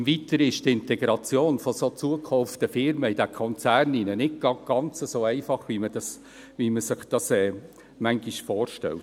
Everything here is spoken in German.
Im Weiteren ist die Integration von zugekauften Firmen in den Konzern nicht ganz so einfach, wie man sich das manchmal vorstellt.